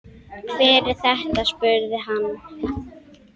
Hver er þetta, spurði hann.